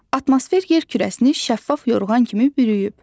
Atmosfer yer kürəsini şəffaf yorğan kimi bürüyüb.